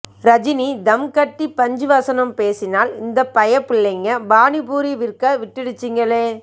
ரஜினி தம் கட்டி பன்ச் வசனம் பேசினால் இந்த பய புள்ளைக பானி பூரி விற்க விட்டுடுச்சுங்களே